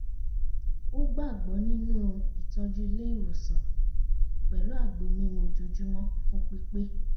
ó gbàgbọ́ nínú ìtọ́jú ilé ìwòsàn pẹ̀lú àgbo mímu ojoojúmọ́ fún pípé